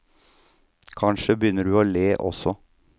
Kanskje begynner du å le også.